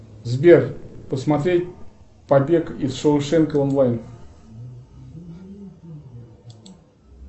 сбер посмотреть побег из шоушенка онлайн